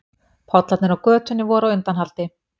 Pollarnir á götunni voru á undanhaldi.